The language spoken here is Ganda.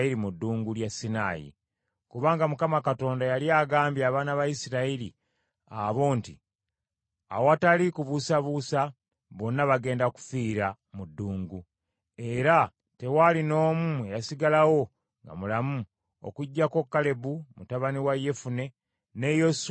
Kubanga Mukama Katonda yali agambye abaana ba Isirayiri abo nti awatali kubuusabuusa bonna bagenda kufiira mu ddungu. Era tewali n’omu eyasigalawo nga mulamu okuggyako Kalebu mutabani wa Yefune, ne Yoswa mutabani wa Nuuni.